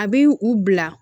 A bi u bila